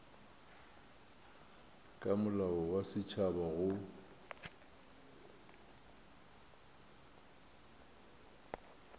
ka molao wa setšhaba go